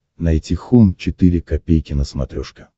найти хоум четыре ка на смотрешке